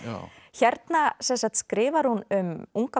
hérna skrifar hún um unga